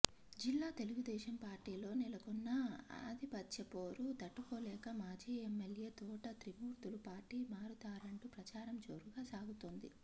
జిల్లా తెలుగుదేశం పార్టీలో నెలకొన్న ఆధిపత్యపోరు తట్టుకోలేక మాజీ ఎమ్మెల్యే తోట త్రిమూర్తులు పార్టీ మారతారంటూ ప్రచారం జోరుగా సాగుతోంది